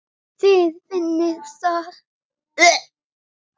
Þið finnið það?